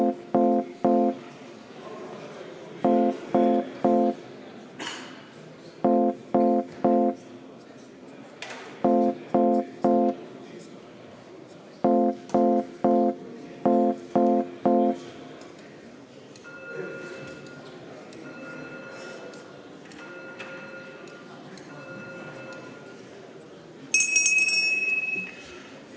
Meil on vaja ka seda ettepanekut hääletada.